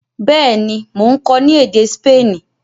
béèni Món kò ni èdè Spani.